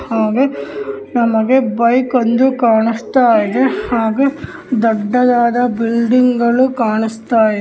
ಹಾಗೆ ನಮಗೆ ಬೈಕ್ ಒಂದು ಕಾಣಿಸ್ತಾ ಇದೆ ಹಾಗೆ ದೊಡ್ಡದಾದ ಒಂದು ಬಿಲ್ಡಿಂಗಗಳು ಕಾಣಿಸ್ತಾ ಇದೆ.